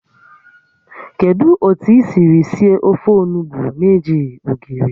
Kedu otu I siri sie ofe onugbu na-ejighị ogiri?